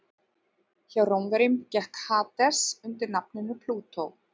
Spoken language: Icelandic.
Hjá Rómverjum gekk Hades undir nafninu Plútó.